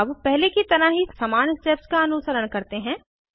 अब पहले की तरह ही समान स्टेप्स का अनुसरण करते हैं